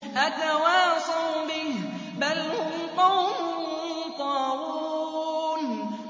أَتَوَاصَوْا بِهِ ۚ بَلْ هُمْ قَوْمٌ طَاغُونَ